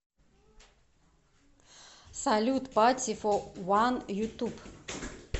салют пати фо ван ютуб